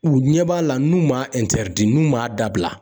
U ɲɛ b'a la , n'u m'a n'u m'a dabila.